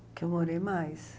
O que eu morei mais.